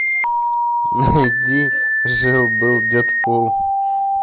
найди жил был дэдпул